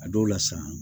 A dɔw la sa